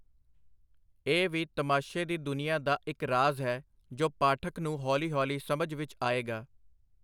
ਇਹ ਵੀ ਤਮਾਸ਼ੇ ਦੀ ਦੁਨੀਆਂ ਦਾ ਇਕ ਰਾਜ਼ ਹੈ, ਜੋ ਪਾਠਕ ਨੂੰ ਹੌਲੀ-ਹੌਲੀ ਸਮਝ ਵਿਚ ਆਏਗਾ.